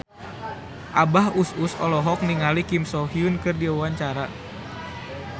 Abah Us Us olohok ningali Kim So Hyun keur diwawancara